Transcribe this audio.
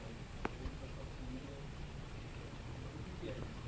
Junto com sua filha eh O que que é isso?